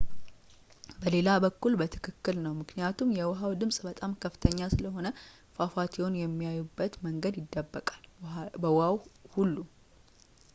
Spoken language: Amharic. በሌላ በኩል በትክክል ነው ምክኒያቱም የውሃው ድምፅ በጣም ከፍተኛ ስለሆነ ፏፏቴውን የሚያዩበት መንገድ ይደበቃል በውሃው ሁሉ